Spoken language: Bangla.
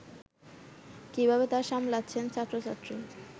কিভাবে তা সামলাচ্ছেন ছাত্র-ছাত্রী